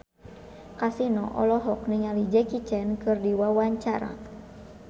Kasino olohok ningali Jackie Chan keur diwawancara